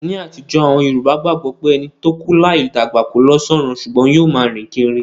Ní àtijó, àwon Yorùbá gbagbo pé ẹni to kú láì dàgbà ko lo sọrun sùgbón yio ma rìn kírí